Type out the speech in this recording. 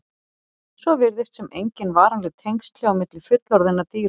Svo virðist sem engin varanleg tengsl séu á milli fullorðinna dýra.